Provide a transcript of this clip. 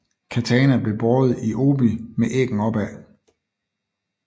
Katana blev båret i obi med æggen opad